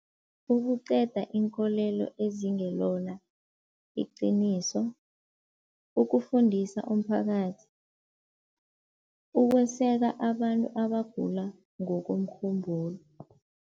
Ukuqeda inkolelo ezingelona iqiniso, ukufundisa umphakathi, ukweseka abantu abagula ngokomkhumbulo.